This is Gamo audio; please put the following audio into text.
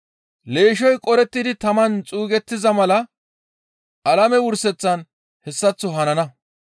«Leeshshoy qorettidi taman xuugettiza mala alame wurseththan hessaththo hanana.